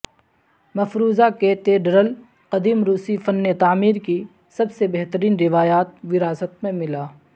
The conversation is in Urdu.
مفروضہ کیتیڈرل قدیم روسی فن تعمیر کی سب سے بہترین روایات وراثت میں ملا